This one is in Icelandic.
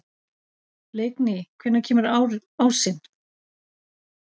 Leikný, hvenær kemur ásinn?